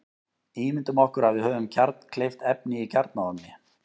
Ímyndum okkur að við höfum kjarnkleyft efni í kjarnaofni.